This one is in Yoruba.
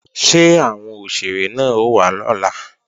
Ṣé àwọn òṣèré náà ó wá lọ́la?